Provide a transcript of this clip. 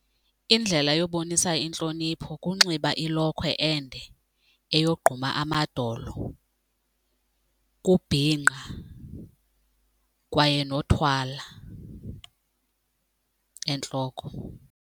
Indlela yokubonisa intlonipho kunxiba ilokhwe ende eyogquma amadolo, kubhinqa kwaye nothwala entloko.